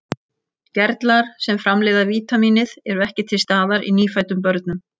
Gerlar sem framleiða vítamínið eru ekki til staðar í nýfæddum börnum.